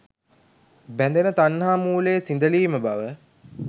බැඳෙන තණ්හා මූලය සිඳලීම බව